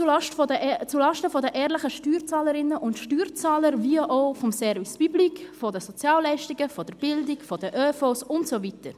Dies geht sowohl zulasten der ehrlichen Steuerzahlerinnen und Steuerzahler als auch des Service public, der Sozialleistungen, der Bildung, des ÖV und so weiter.